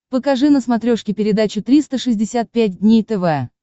покажи на смотрешке передачу триста шестьдесят пять дней тв